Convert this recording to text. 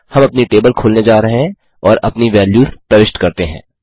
हम अपनी टेबल खोलने जा रहे हैं और अपनी वैल्यूज़ प्रविष्ट करते हैं